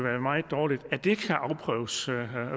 er meget dårligt afprøves